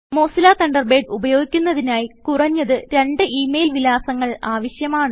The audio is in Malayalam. മോസില്ല തണ്ടർബേഡ് ഉപയോഗിക്കുന്നതിനായി കുറഞ്ഞത് രണ്ടു ഇ മെയിൽ വിലാസങ്ങൾ ആവശ്യമാണ്